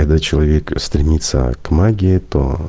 когда человек стремится к магии то